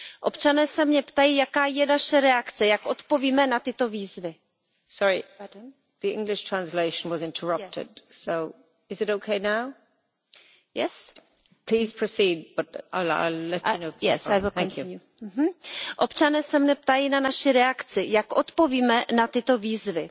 Občané se mě ptají, jaká je naše reakce, jak odpovíme na tyto výzvy.